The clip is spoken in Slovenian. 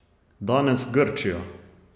Danes Grčija.